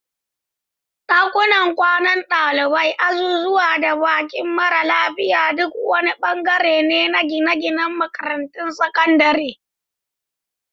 Dakunan kwanan dalibai, azuzuwa, da bakin mara lafiya duk wani bangare ne na gine-ginen makarantun sakandare.